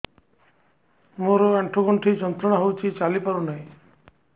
ମୋରୋ ଆଣ୍ଠୁଗଣ୍ଠି ଯନ୍ତ୍ରଣା ହଉଚି ଚାଲିପାରୁନାହିଁ